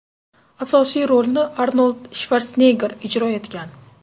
Asosiy rolni Arnold Shvartsenegger ijro etgan.